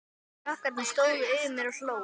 Krakkarnir stóðu yfir mér og hlógu.